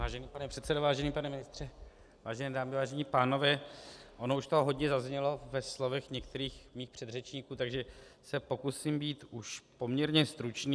Vážený pane předsedo, vážený pane ministře, vážené dámy, vážení pánové, ono už toho hodně zaznělo ve slovech některých mých předřečníků, takže se pokusím být už poměrně stručný.